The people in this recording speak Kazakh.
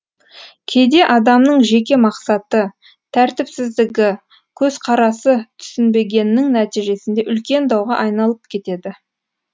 кейде адамның жеке мақсаты тәртіпсіздігі көзқарасы түсінбегеннің нәтижесінде үлкен дауға айналып кетеді